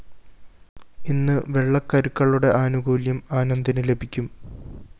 ഇന്ന് വെള്ളക്കരുക്കളുടെ ആനുകൂല്യം ആനന്ദിന് ലഭിക്കും